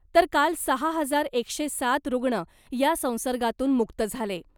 तर काल सहा हजार एकशे सात रुग्ण या संसर्गातून मुक्त झाले .